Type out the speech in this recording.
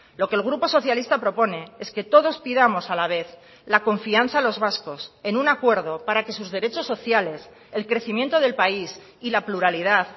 lo que el grupo socialista propone es que todos pidamos a la vez la confianza a los vascos en un acuerdo para que sus derechos sociales el crecimiento del país y la pluralidad